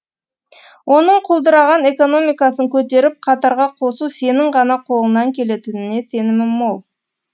оның құлдыраған экономикасын көтеріп қатарға қосу сенің ғана қолыңнан келетініне сенімім мол